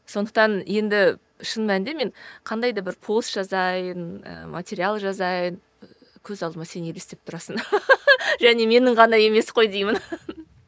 сондықтан енді шын мәнінде мен қандай да бір пост жазайын і материал жазайын көз алдыма сен елестеп тұрасың және менің ғана емес қой деймін